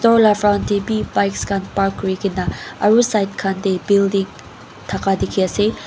Door laga front dae bi bikes khan park kurikina aro side khan dae building taka diki asae.